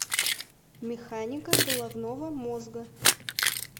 механика головного мозга